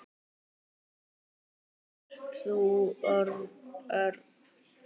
Ert þú Örn?